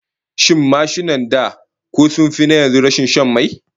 Shin mashinan da ko sun fi na yanzu rashin shan mai?